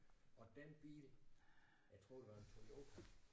Og dén bil jeg tror det var en Toyota